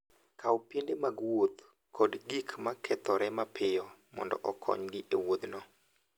Kaw piende mag wuoth kod gik ma kethore mapiyo mondo okonygi e wuodhno.